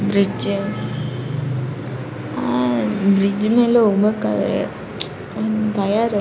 bridge ಅಹ್ bridge ಮೇಲೆ ಹೋಗ್ಬೇಕಾದ್ರೆ ಒಂದ್ ಭಯ ಇರತ್ತೆ --